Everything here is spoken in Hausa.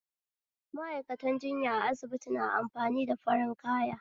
Ma'aikatan jinya a asibiti na amfani da farin kaya